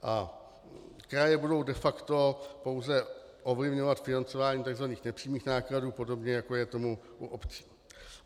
A kraje budou de facto pouze ovlivňovat financování tzv. nepřímých nákladů, podobně jako je tomu u obcí.